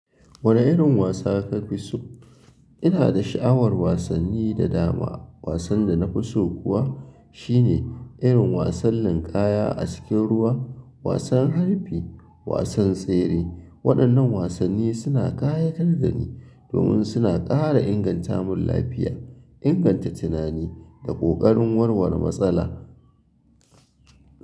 Wane irin wasa ka fi so? Ina da sha'awar wasanni da dama. Wasan da na fi so kuwa shine irin wasan linƙaya a cikin ruwa, wasan harbi, wasan tsere. Waɗannan wasanni suna ƙayatar da ni domin suna ƙara inganta mun lafiya, inganta tunani da ƙoƙarin warware matsala.